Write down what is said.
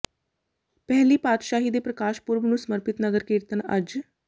ਪਹਿਲੀ ਪਾਤਸ਼ਾਹੀ ਦੇ ਪ੍ਰਕਾਸ਼ ਪੂਰਬ ਨੂੰ ਸਮਰਪਿਤ ਨਗਰ ਕੀਰਤਨ ਅੱਜ